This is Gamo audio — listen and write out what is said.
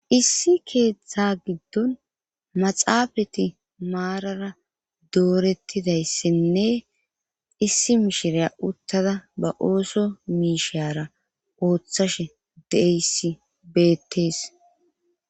Issi keeththa giddon maxaafati maarara doorettidayssenne issi mishiriya uttada ba ooso miishara ooththashe deeyssi beettees